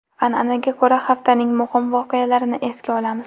An’anaga ko‘ra, haftaning muhim voqealarini esga olamiz.